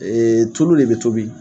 Tulu de bɛ tobi